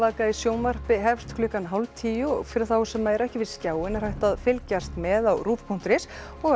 í sjónvarpi hefst klukkan hálft tíu og fyrir þá sem ekki eru við skjáinn er hægt að fylgjast með á rúv punktur is og